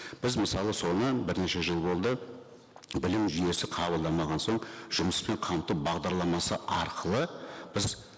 біз мысалы соны бірнеше жыл болды білім жүйесі қабылдамаған соң жұмыспен қамту бағдарламасы арқылы біз